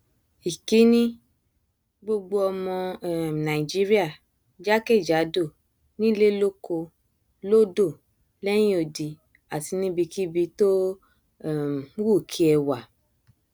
ìkíni gbogbo ọmọ um nàìjíríà jákèjádò nílé lóko lódò lẹhìn odi àti níbikíbi tó um wù kí ẹ wà